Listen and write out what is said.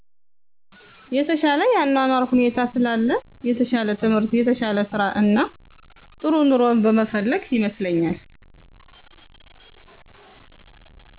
የተሻለ የአኗኗር ሁኔታ ስላለ የተሻለ ትምህር የተሻለ ስራእና ጥሩ ኑሮን በመፈለግ ይመስለኛል